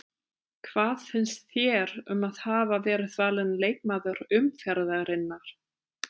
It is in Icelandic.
Hvað finnst þér um að hafa verið valin leikmaður umferðarinnar?